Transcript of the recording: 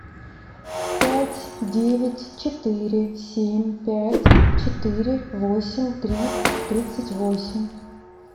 пять девять четыре семь пять четыре восемь три тридцать восемь